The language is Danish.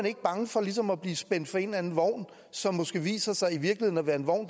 ikke bange for ligesom at blive spændt for en eller anden vogn som måske viser sig at være en vogn